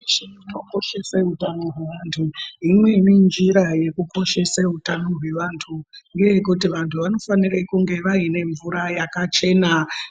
..weshe anokoshse utano hwevantu. Imweni njira yekukoshese utano hwevantu ngeyekuti vantu vanofanire kunge vaine mvura yakachena.